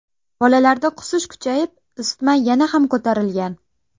Bolalarda qusish kuchayib, isitma yana ham ko‘tarilgan.